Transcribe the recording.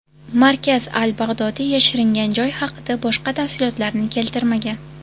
Markaz al-Bag‘dodiy yashiringan joy haqida boshqa tafsilotlarni keltirmagan.